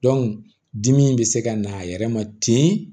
dimi bɛ se ka na a yɛrɛ ma ten